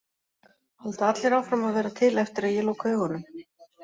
Halda allir áfram að vera til eftir að ég loka augunum?